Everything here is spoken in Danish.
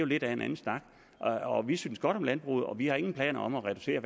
lidt anden snak vi synes godt om landbruget og vi har ingen planer om at reducere